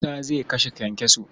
Musa zai kashe kyankyaso.